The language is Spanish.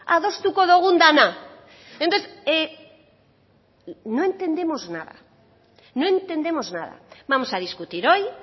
adostuko dugun dena entonces no entendemos nada no entendemos nada vamos a discutir hoy